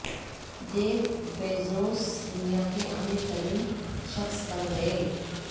Jeff Bezos دنیا کے امیر ترین شخص بن گئے